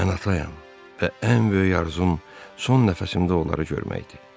Mən atayam və ən böyük arzum son nəfəsimdə onları görməkdir.